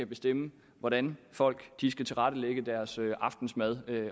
bestemme hvordan folk skal tilrette deres aftensmad